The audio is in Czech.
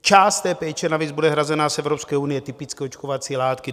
Část té péče navíc bude hrazena z Evropské unie, typicky očkovací látky.